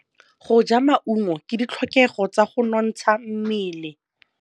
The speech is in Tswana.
Go ja maungo ke ditlhokegô tsa go nontsha mmele.